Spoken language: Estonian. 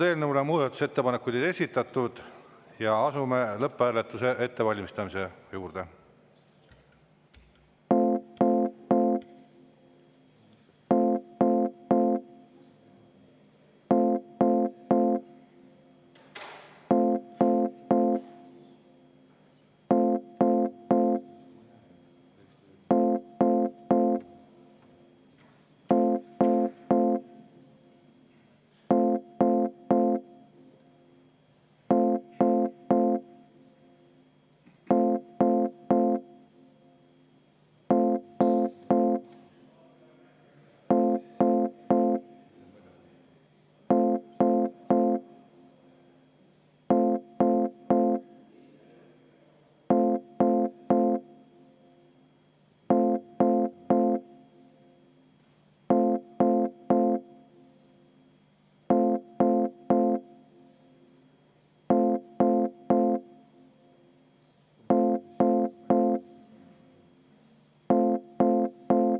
Eelnõu kohta muudatusettepanekuid ei esitatud, asume lõpphääletuse ettevalmistamise juurde.